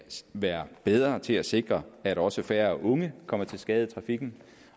være bedre til at sikre at også færre unge kommer til skade i trafikken